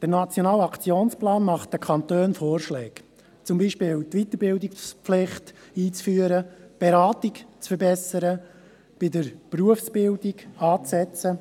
Der Nationale Aktionsplan macht den Kantonen Vorschläge, zum Beispiel die Weiterbildungspflicht einzuführen, die Beratung zu verbessern, bei der Berufsbildung anzusetzen.